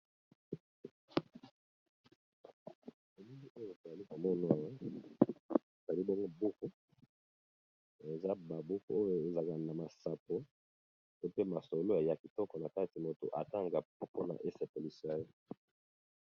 Na elili oyo toalikomono buku eza babuku oyo ezaka na masapo pe masolo ya kitoko na kati moto atanga mpona esepelisa yo